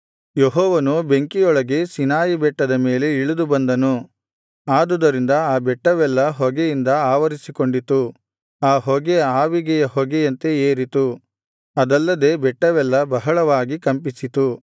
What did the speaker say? ಯೆಹೋವನು ಬೆಂಕಿಯೊಳಗೆ ಸೀನಾಯಿ ಬೆಟ್ಟದ ಮೇಲೆ ಇಳಿದು ಬಂದನು ಆದುದರಿಂದ ಆ ಬೆಟ್ಟವೆಲ್ಲಾ ಹೊಗೆಯಿಂದ ಆವರಿಸಿಕೊಂಡಿತು ಆ ಹೊಗೆ ಆವಿಗೆಯ ಹೊಗೆಯಂತೆ ಏರಿತು ಅದಲ್ಲದೆ ಬೆಟ್ಟವೆಲ್ಲಾ ಬಹಳವಾಗಿ ಕಂಪಿಸಿತು